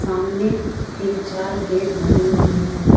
सामने तीन चार गेट बने हुए हैं।